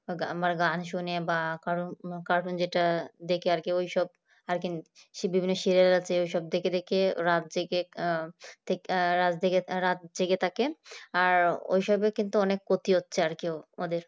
কারণ আবার গান শুনে বা কারন কারন যেটা দেখে আর কি সেই বিভিন্ন সিরিয়াল আছে ঐসব দেখে রাত জাগে রাত জেগে আর রাত জেগে থাকে আর ওর সাথে অনেক ক্ষতি হচ্ছে করে ওদের।